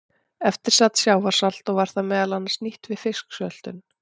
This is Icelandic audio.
Eftir sat sjávarsalt og var það meðal annars nýtt við fisksöltun.